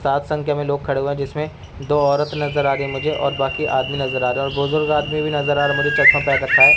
सात संख्या में लोग खड़े हुए जिसमें दो औरत नजर आ रही है मुझे और बाकि आदमी नजर आ रहा और बुजुर्ग आदमी भी नजर आ रहा मुझे चश्मा पहन रखा है।